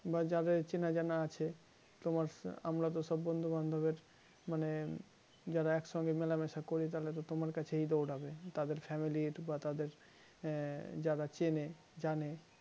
বা যাদের চেনা জানা আছে তোমার আমরা তো সব বন্ধু বান্ধবের মানে যারা একসঙ্গে মেলামেশা করি তাহলে তো তোমার কাছেই দৌড়াবে তাদের family র বা তাদের যারা চেনে জানে